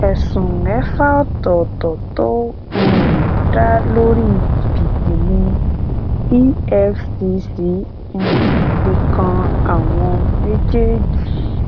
ẹsùn mẹfà ọtọọtọ tó um dá lórí jìbìtì ni efcc um fi kan àwọn méjèèjì